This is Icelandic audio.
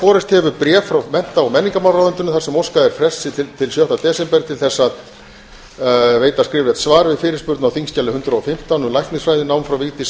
borist hefur bréf frá mennta og menningarmálaráðuneytinu þar sem óskað er frests til sjötta desember til að veita skriflegt svar við fyrirspurn á þingskjali hundrað og fimmtán um læknisfræðinám frá vigdísi